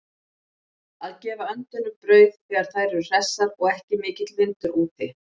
Að gefa öndunum brauð þegar þær eru hressar og ekki mikill vindur úti.